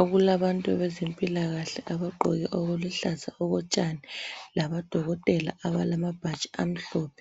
okulabantu bezempilakahle abagqoke okuluhlaza okotshani labodokotela abalamabhatshi amhlophe